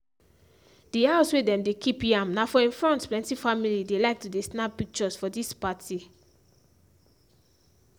the house wey dem dey kip yam na for im front plenty family dey like to dey snap pictures for dis party.